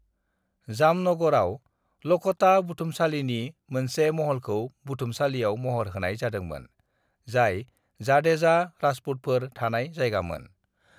"जामनगरआव लखोटा बुथुमसालिनि मोनसे महलखौ बुथुमसालियाव महर होनाय जादोंमोन, जाय जाडेजा राजपूतफोर थानाय जायगामोन।"